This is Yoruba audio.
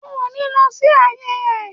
O ò ní lọ sí àyè ẹ̀.